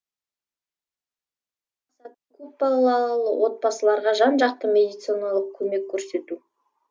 көпбалалы отбасыларға жан жақты медициналық көмек көрсету